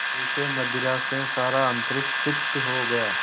जैसे मदिरा से सारा अंतरिक्ष सिक्त हो गया